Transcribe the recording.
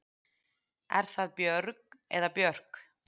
Er það Björg eða Björk?